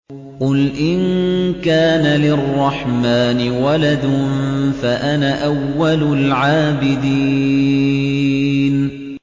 قُلْ إِن كَانَ لِلرَّحْمَٰنِ وَلَدٌ فَأَنَا أَوَّلُ الْعَابِدِينَ